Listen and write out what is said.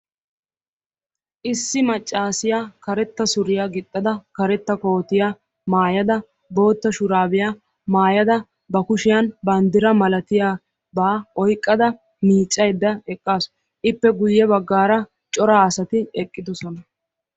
Issi maccassiya karettaa suriya gixxada karetta kootiya maayada boottaa shuraabiya maayada ba kushshiyan banddira malatiyaba oyqqada miiccayda eqqaasu. Ippe guye baggaara cora asati eqqidosona.